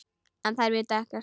En þær vita ekkert.